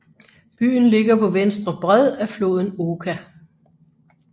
Byen ligger på venstre bred af floden Oka